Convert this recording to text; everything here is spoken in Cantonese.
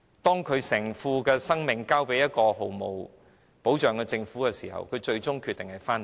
當考慮到要把性命交給一個毫無保障的政府的時候，她最終決定回到香港。